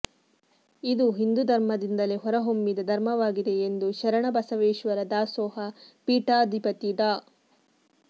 ಇದು ಹಿಂದೂ ಧರ್ಮದಿಂದಲೇ ಹೊರಹೊಮ್ಮಿದ ಧರ್ಮವಾಗಿದೆ ಎಂದು ಶರಣ ಬಸವೇಶ್ವರ ದಾಸೋಹ ಪೀಠಾಧಿಪತಿ ಡಾ